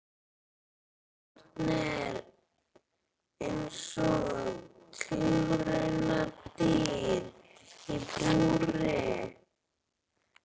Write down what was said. Barnið er eins og tilraunadýr í búri.